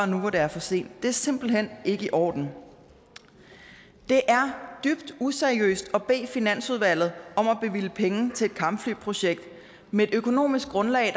nu hvor det er for sent det er simpelt hen ikke i orden det er dybt useriøst at bede finansudvalget om at bevilge penge til et kampflyprojekt med et økonomisk grundlag